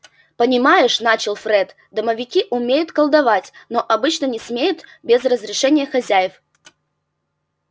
понимаешь начал фред домовики умеют колдовать но обычно не смеют без разрешения хозяев